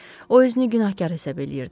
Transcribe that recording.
O özünü günahkar hesab eləyirdi.